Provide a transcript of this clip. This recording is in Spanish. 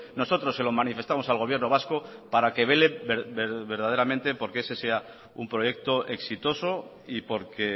nosotros se lo manifestamos al gobierno vasco para que vele verdaderamente porque ese sea un proyecto exitoso y porque